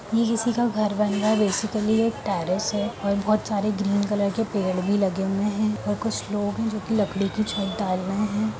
ये किसी का घर बन रहा है बेसिकली ये एक टेरिस है और ये बहोत सारे ग्रीन कलर पेड़ भी लगे हुए हैं और कुछ लोग हैं जोकि लकड़ी की छत डाल रहे हैं ।